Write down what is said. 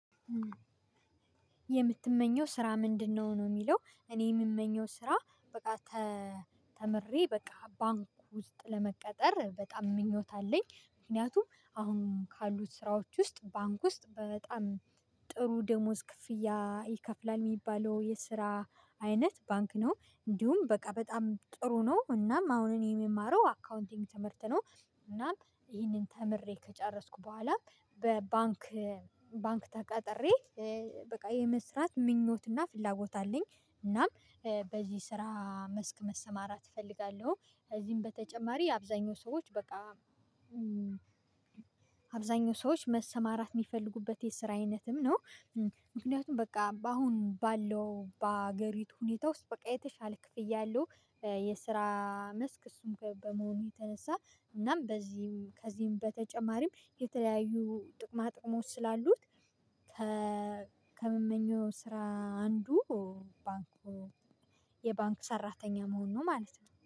የምትመኘው ስራ ምንድነው? ነው የሚለው እኔ የምመኘው ስራ በቃ ተምሬ በቃ ባንክ ውስጥ ለመቀጠር በጣም ምኞት አለኝ። ምክንያቱም አሁን ካሉት ስራዎች ውስጥ ባንክ ውስጥ በጣም ጥሩ ደሞዝ ክፍያ ይከፍላል የሚባለው የስራ አይነት ባንክ ነው። እንዲሁም በቃ በጣም ጥሩ ነው እናም አሁን የምማረው አካውንቲንግ ትምህርት ነው። እናም ይህንን ተምሬ ከጨረስኩ በኋላም በባንክ ባንክ ተቀጥሬ በቃ የመስራት ምኞትና ፍላጎት አለኝ። እናም በዚህ ስራ መስክ መሰማራት እፈልጋለሁ። እዚህም በተጨማሪ አብዛኛው ሰዎች በቃ አብዛኛው ሰዎች መሰማራት የሚፈልጉበት የስራ አይነትም ነው። ምክንያቱም በቃ አሁን ባለው በአገሪቱ ሁኔታ ውስጥ በቃ የተሻለ ክፍያ አለው። የስራ መስክ እሱም በመሆኑ የተነሳ እናም በዚህ ከዚህም በተጨማሪም የተለያዩ ጥቅማ ጥቅሞች ስላሉት። ከመመኘው ስራ አንዱ ባንኩ የባንክ ሰራተኛ መሆን ነው ማለት ነው